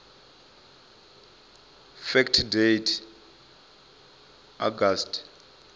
fact date august